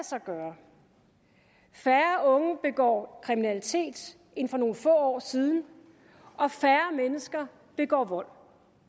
sig gøre færre unge begår kriminalitet end for nogle få år siden og færre mennesker begår vold